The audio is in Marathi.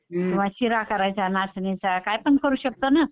किंवा शिरा करायचा नाचणीचा कायपण करू शकतो ना.